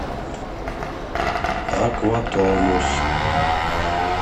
аква тонус